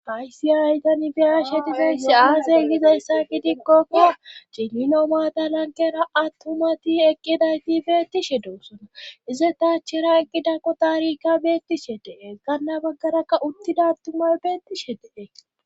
Faysi aytanibiyashe tifeyssi aaze gizayssa gidikkokka cililo maadalankera attumati eqqidayti beettishe dewusona ize taachera qidako taarika beettishe dee kanna baggarakka uttida attumay beettishe dee